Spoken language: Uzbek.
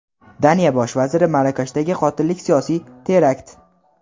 Daniya Bosh vaziri: Marokashdagi qotillik siyosiy terakt.